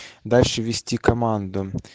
дальше вести команду